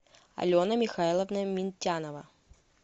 алена михайловна минтянова